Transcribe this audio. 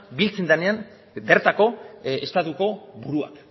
biltzen denean bertako estatuko buruak